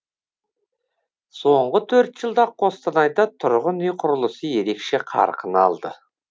соңғы төрт жылда қостанайда тұрғын үй құрылысы ерекше қарқын алды